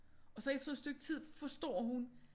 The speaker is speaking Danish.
Og så efter et stykke tid forstår hun